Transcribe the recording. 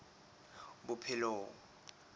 bophelong